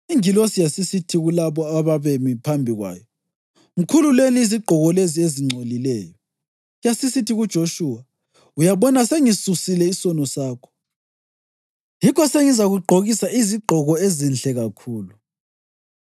Ingilosi yasisithi kulabo ababemi phambi kwayo, “Mkhululeni izigqoko lezi ezingcolileyo.” Yasisithi kuJoshuwa, “Uyabona, sengisisusile isono sakho, yikho sengizakugqokisa izigqoko ezinhle kakhulu.”